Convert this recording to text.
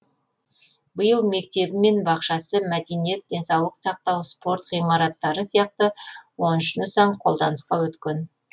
биыл мектебі мен бақшасы мәдениет денсаулық сақтау спорт ғимараттары сияқты он үш нысан қолданысқа өткен